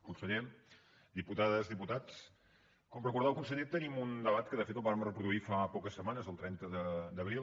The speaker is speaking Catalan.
conseller diputades diputats com recordava el conseller tenim un debat que de fet el vàrem reproduir fa poques setmanes el trenta d’abril